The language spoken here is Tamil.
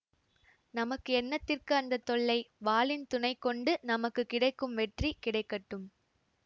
நமக்கு என்னத்திற்கு அந்த தொல்லை வாளின் துணை கொண்டு நமக்குக் கிடைக்கும் வெற்றி கிடைக்கட்டும்